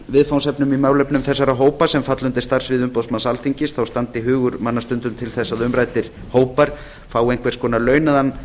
viðfangsefnum í málefnum þessara hópa sem falla undir starfssvið umboðsmanns alþingis þá standi hugur manna stundum til þess að umræddir hópar fái einhvers konar launaðan